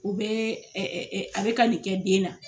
U bɛ a bi ka nin kɛ den na.